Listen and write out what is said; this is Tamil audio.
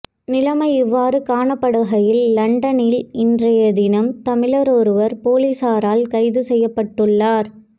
நிலைமை இவ்வாறு காணப்படுகையில் லண்டனில் இன்றைய தினம் தமிழரொருவர் பொலிஸாரால் கைது செய்யப்பட்டுள்ளார்